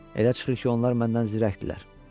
Elə çıxır ki, onlar məndən zirəkdirlər.